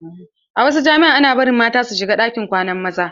A wasu jami'an ana bari mata su shiga ɗakin kwanan maza.